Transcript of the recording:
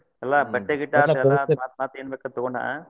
ಅಲ್ಲ ಬಟ್ಟೆ ಗಿಟ್ಟೆ ಏನ್ ಬೇಕಾದ್ ತೊಗೋನಾ.